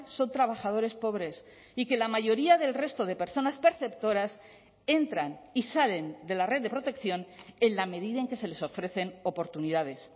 son trabajadores pobres y que la mayoría del resto de personas perceptoras entran y salen de la red de protección en la medida en que se les ofrecen oportunidades